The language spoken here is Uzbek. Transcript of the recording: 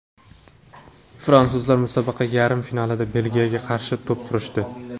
Fransuzlar musobaqa yarim finalida Belgiyaga qarshi to‘p surishdi.